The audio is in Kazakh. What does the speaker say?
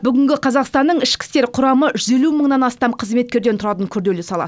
бүгінгі қазақстанның ішкі істер құрамы жүз елу мыңнан астам қызметкерден тұратын күрделі сала